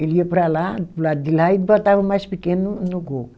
Ele ia para lá, para o lado de lá e botava o mais pequeno no no gol.